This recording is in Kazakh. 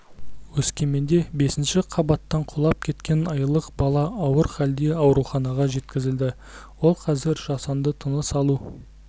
өскеменде бесінші қабаттан құлап кеткен айлық бала ауыр халде ауруханаға жеткізілді ол қазір жасанды тыныс алу